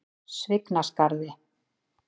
Svignaskarði